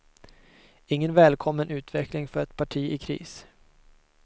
Ingen välkommen utveckling för ett parti i kris.